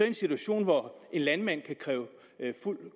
en situation hvor en landmand kan kræve fuld